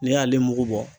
Ne y'ale mugu bɔ